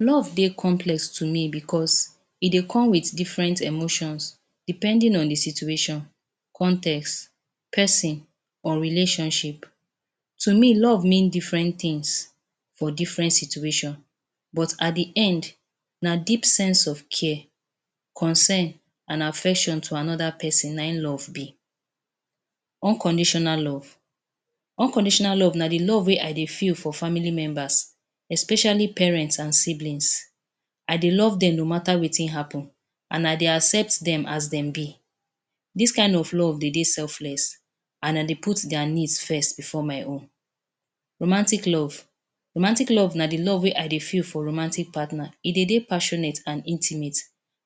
Love dey complex to be becos e dey come with different emotions depending on the situation, context, peson, or relationship. To me, love mean different tins for different situation, but at the end, na deep sense of care, concern an affection to another peson na ein love be. Unconditional love: Unconditional love na the love wey I dey feel for family members, especially parents an siblings. I dey love dem no matter wetin happen, an I dey accept dem as dem be. Dis kain of love dey dey selfless an I dey put dia needs first before my own. Romantic Love: Romantic love na the love wey I dey feel for romantic partner. E dey dey passionate an intimate.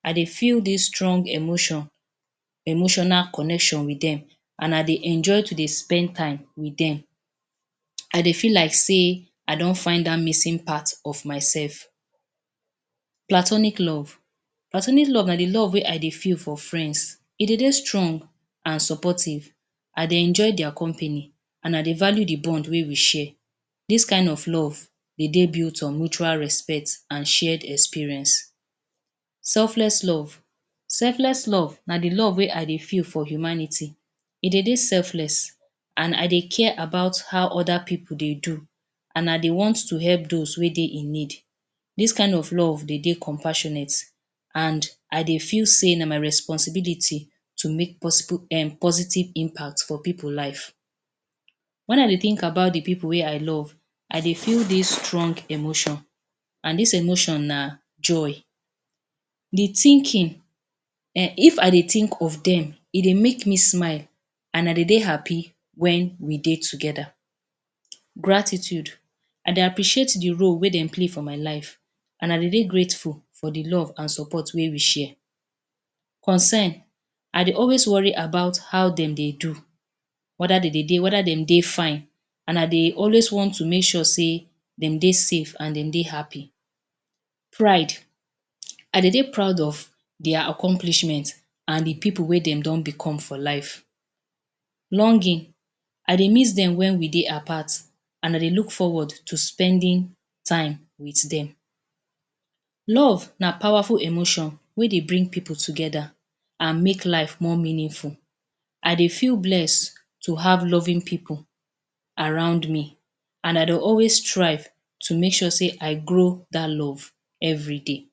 I dey feel dis strong emotion, emotional connection with dem, an I dey enjoy to dey spend time with dem. I dey feel like sey I don find dat missing part of mysef. Platonic Love: Platonic love na the love wey I dey feel for friends. E dey dey strong an supportive. I dey enjoy dia company an I dey value the bond wey we share. Dis kain of love dey dey built on mutual respect an shared experience. Selfless Love: Selfless love na the love wey I dey feel for humanity. E dey dey selfless an I dey care about how other pipu dey do an I dey want to help dos wey dey in need. Dis kain of love dey dey compassionate an I dey feel sey na my responsibility to make possible um positive impact for pipu life. Wen I dey think about the pipu wey I love, I dey feel dis strong emotion, an dis emotion na joy. The thinking um If I dey think of dem, e dey make me smile, an I dey dey happy wen we dey together. Gratitude: I dey appreciate the role wey de play for my life, an I dey dey grateful for the love an support wey we share. Concern: I dey always worried about how dem dey do, whether de dey dey whether de dey fine an I dey always want to make sure sey dem dey safe an de dey happy. Pride: I dey dey proud of dia accomplishment an the pipu wey dem don become for life. Longing: I dey miss dem wen we dey apart an I dey look forward to spending time with dem. Love na powerful emotion wey dey bring pipu together, an make life more meaningful. I dey feel bless to have loving pipu around me, an I dey always strive to make sure sey I grow dat love everyday.